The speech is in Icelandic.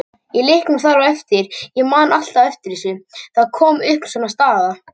Í leiknum þar á eftir, ég man alltaf eftir þessu, þá kom upp svona staða.